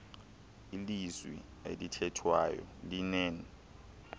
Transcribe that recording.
ilizwi elithethwayo linen